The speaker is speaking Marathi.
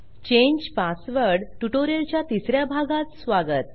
चांगे पासवर्ड ट्युटोरियलच्या तिस या भागात स्वागत